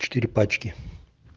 четыре пачки